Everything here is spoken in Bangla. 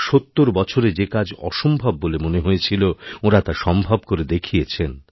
৭০ বছরে যে কাজ অসম্ভব বলে মনে হয়েছিল ওঁরা তা সম্ভব করে দেখিয়েছেন